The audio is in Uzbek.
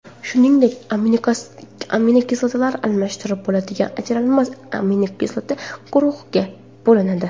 Shuningdek, aminokislotalar almashtirib bo‘ladigan va ajralmas aminokislota guruhiga bo‘linadi.